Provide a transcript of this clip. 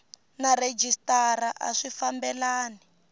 na rhejisitara a swi fambelani